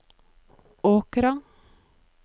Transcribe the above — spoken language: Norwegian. Åkra